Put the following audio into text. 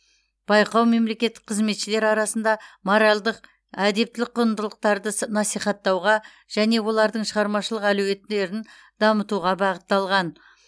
байқау мемлекеттік қызметшілер арасында моральдық әдептілік құндылықтарды с насихаттауға және олардың шығармашылық әлеуетін дамытуға бағытталған